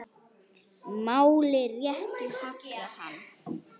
Máli réttu hallar hann